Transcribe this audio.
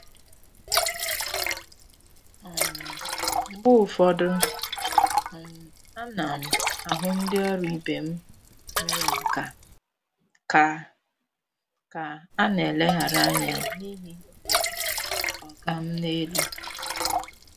um Mgbe ụfọdụ, um ana m um ahụ ndị ọrụ ibe m nwere nkà ka ka a na-eleghara anya n'ihi omenala “oga m n'elu.”